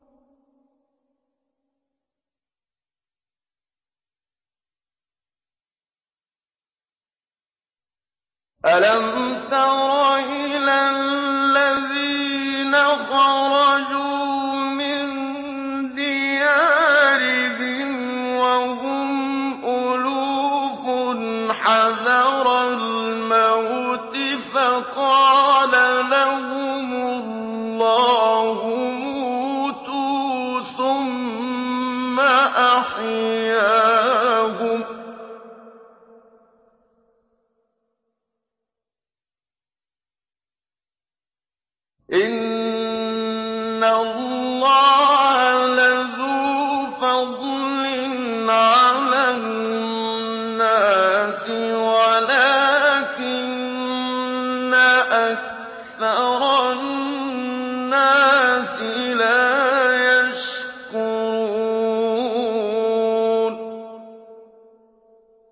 ۞ أَلَمْ تَرَ إِلَى الَّذِينَ خَرَجُوا مِن دِيَارِهِمْ وَهُمْ أُلُوفٌ حَذَرَ الْمَوْتِ فَقَالَ لَهُمُ اللَّهُ مُوتُوا ثُمَّ أَحْيَاهُمْ ۚ إِنَّ اللَّهَ لَذُو فَضْلٍ عَلَى النَّاسِ وَلَٰكِنَّ أَكْثَرَ النَّاسِ لَا يَشْكُرُونَ